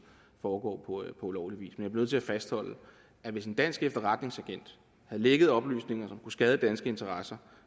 foregår på ulovlig vis nødt til at fastholde at hvis en dansk efterretningsagent havde lækket oplysninger som kunne skade danske interesser